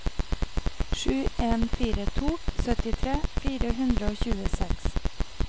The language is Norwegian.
sju en fire to syttitre fire hundre og tjueseks